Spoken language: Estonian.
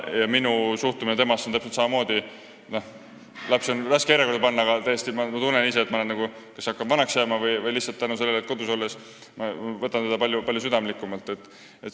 Ja minu suhtumine temasse on samasugune, lapsi on raske järjekorda panna, aga ma tõesti tunnen – ei tea, kas sellepärast, et hakkan vanaks jääma või lihtsalt tänu kodus olemisele –, et ma võtan tütart kuidagi palju südamlikumalt.